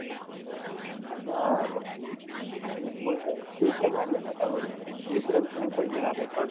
हा. मग मग काय. free hit ला मारले ना, त्यामुळे वीस run कमी पडले ना आता short